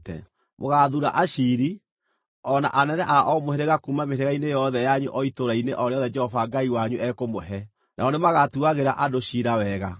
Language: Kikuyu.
Mũgaathuura aciiri, o na anene a o mũhĩrĩga kuuma mĩhĩrĩga-inĩ yothe yanyu o itũũra-inĩ o rĩothe Jehova Ngai wanyu ekũmũhe, nao nĩmagatuagĩra andũ ciira wega.